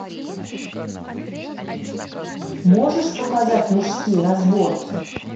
можешь показать мужские разборки